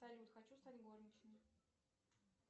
салют хочу стать горничной